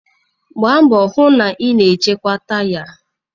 Gbaa mbọ hụ na ị na-echekwa taya